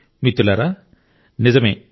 మిత్రులారా నిజమే